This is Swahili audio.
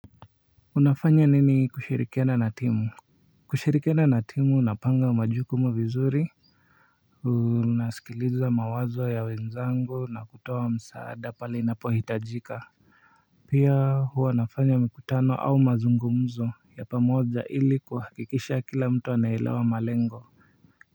Unafanya nini kushirikiana na timu Kushirikiana na timu, unapanga majukumu vizuri nasikiliza mawazo ya wenzangu na kutoa msaada pale inapo hitajika pia huwa nafanya mikutano au mazungumzo ya pamoja, ili kuhakikisha kila mtu anaelewa malengo.